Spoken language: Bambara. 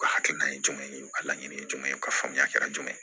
U ka hakilina ye jumɛn ye u ka laɲini ye jumɛn ye ka faamuyali kɛra jumɛn ye